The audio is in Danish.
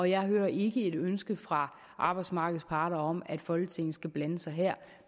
jeg hører ikke ønsker fra arbejdsmarkedets parter om at folketinget skal blande sig her